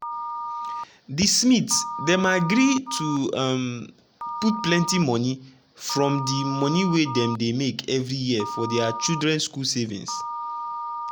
di smiths dem agree to um put plenty money from di money wey dem dey make every year for dia children school savings.